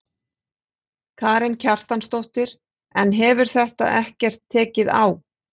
Karen Kjartansdóttir: En hefur þetta ekkert tekið á?